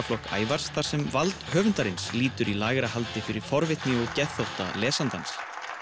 Ævars þar sem vald höfundarins lýtur í lægri haldi fyrir forvitni og geðþótta lesandans